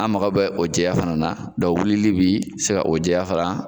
An mako bɛ o jɛya fana na wili bi se ka o jɛya fana